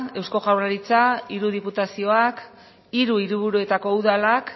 eusko jaurlaritza hiru diputazioak hiru hiriburuetako udalak